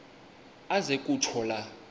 aze kutsho la